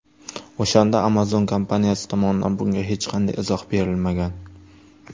O‘shanda Amazon kompaniyasi tomonidan bunga hech qanday izoh berilmagan.